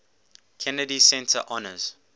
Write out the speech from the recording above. kennedy center honors